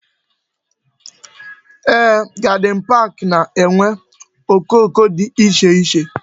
Yes, gardin pak na-enwe okoko dị iche iche